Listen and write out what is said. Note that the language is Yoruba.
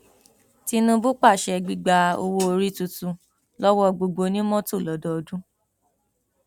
tinúbú pàṣẹ gbígba owóorí tuntun lọwọ gbogbo onímọtò lọdọọdún